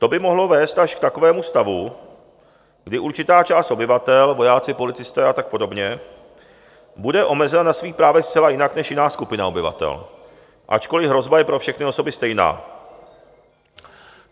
To by mohlo vést až k takovému stavu, kdy určitá část obyvatel, vojáci, policisté a tak podobně, bude omezena na svých právech zcela jinak než jiná skupina obyvatel, ačkoliv hrozba je pro všechny osoby stejná.